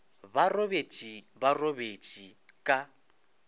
ba robetše ba robetše ka